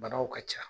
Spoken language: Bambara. Banaw ka ca